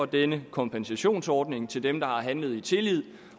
denne kompensationsordning til dem der har handlet i tillid